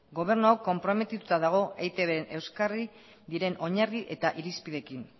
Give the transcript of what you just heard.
gobernu hau konprometituta dago eitbren euskarri diren oinarri eta irizpideekin